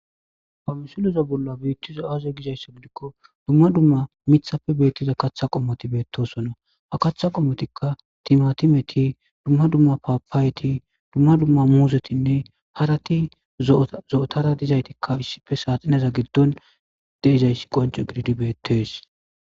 pamisuliza bolla biittizo aaze gizaysso gidikko dumma dumma mithapfe beettiza kaththa qommoti beettosonna ha kaththa qommotikka timatimeti dumma dumma paapaayeti dumma dumma muuzetinne harati zo7otara dizaytikka issife saaxineza giddon deizayssi qonco gididi bettees